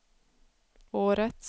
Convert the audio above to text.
årets